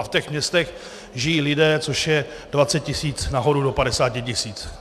A v těch městech žijí lidé, což je 20 tisíc nahoru do 50 tisíc.